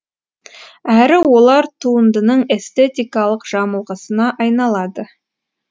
әрі олар туындының эстетикалық жамылғысына айналады